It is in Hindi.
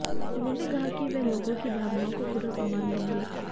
उन्होंने कहा कि वो लोगों की भावनाओं को पूरा सम्मान देंगे